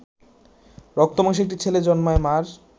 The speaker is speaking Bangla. রক্তমাংসের একটি ছেলে জন্মায় মা’র